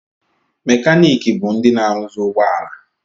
Mekanịkị bụ ndị na-arụzị ụgbọala